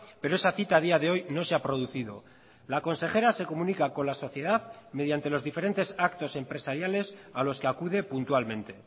pero esa cita a día de hoy no se ha producido la consejera se comunica con la sociedad mediante los diferentes actos empresariales a los que acude puntualmente